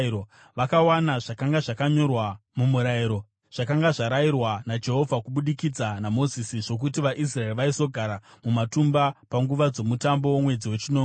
Vakawana zvakanga zvakanyorwa muMurayiro, zvakanga zvarayirwa naJehovha kubudikidza naMozisi, zvokuti vaIsraeri vaizogara mumatumba panguva dzomutambo womwedzi wechinomwe.